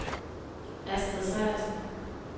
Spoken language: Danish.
Astrid Sejersen